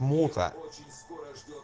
муха